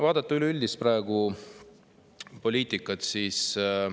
Vaatame praegust üleüldist poliitikat.